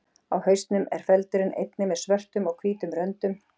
Á hausnum er feldurinn einnig með svörtum og hvítum röndum.